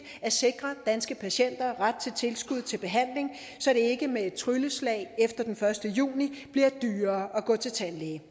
at sikre danske patienter ret til tilskud til behandling så det ikke med et trylleslag efter den første juni bliver dyrere at gå til tandlæge